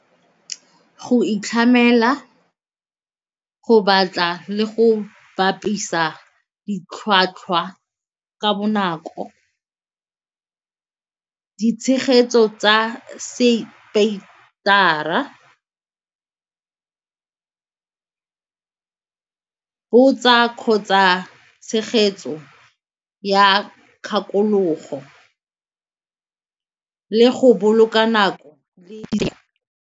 Go itlhamela go batla le go bapisa ditlhwatlhwa ka bonako, ditshegetso tsa botsa kgotsa tshegetso ya kgakologo le go boloka nako le.